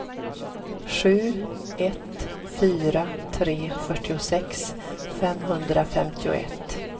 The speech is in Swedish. sju ett fyra tre fyrtiosex femhundrafemtioett